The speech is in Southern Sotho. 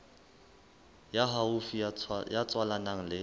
ya haufi ya tswalanang le